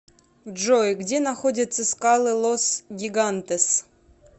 джой где находятся скалы лос гигантес